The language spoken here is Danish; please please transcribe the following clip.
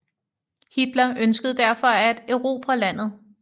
Hitler ønskede derfor at erobre landet